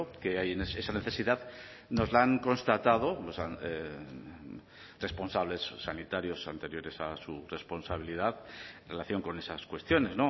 que hay esa necesidad nos la han constatado responsables sanitarios anteriores a su responsabilidad en relación con esas cuestiones